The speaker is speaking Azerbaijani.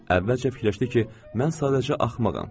Əvvəlcə fikirləşdi ki, mən sadəcə axmağam.